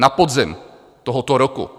Na podzim tohoto roku.